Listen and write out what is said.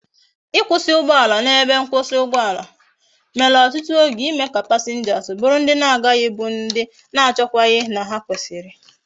ikwusi ugboala na ebe mkwusi ugboala mere otutu oge ime ka passengers buru ndi na agaghi bu ndi na achochaghi na ha kwesiri